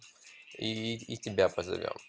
и тебя позовём